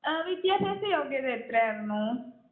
വിദ്യാഭ്യാസ യോഗ്യത എത്രയായിരുന്നു?